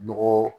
Nɔgɔ